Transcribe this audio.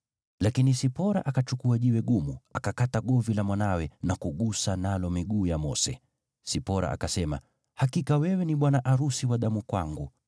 Lakini Sipora akachukua jiwe gumu, akakata govi la mwanawe na kugusa nalo miguu ya Mose. Sipora akasema, “Hakika wewe ni bwana arusi wa damu kwangu.”